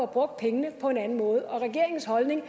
brugt pengene på en anden måde og regeringens holdning